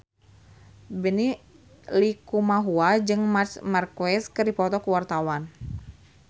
Benny Likumahua jeung Marc Marquez keur dipoto ku wartawan